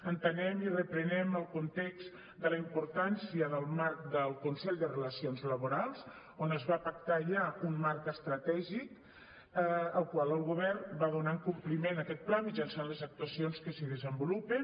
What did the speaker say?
entenem i reprenem el context de la importància del marc del consell de relacions laborals on es va pactar ja un marc estratègic al qual el govern va donant compliment a aquest pla mitjançant les actuacions que s’hi desenvolupen